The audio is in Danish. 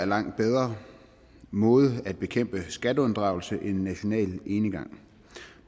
langt bedre måde at bekæmpe skatteunddragelse på end national enegang